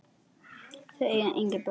Þau eiga engin börn.